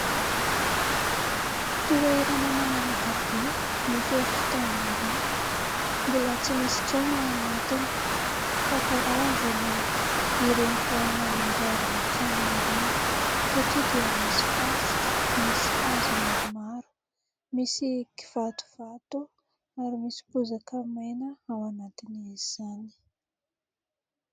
Toerana malalaka be, mifefy tamboho. Mbola tsy misy trano ao anatiny fa karazan'ireny vao hanamboarana trano ireny; satria dia misy fasika, misy hazo maromaro, misy kivatovato, ary misy bozaka maina ao anatin'izany.